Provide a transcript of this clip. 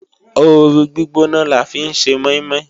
Ooru gbígbóná la fi ń ṣe mọ́ínmọ́ín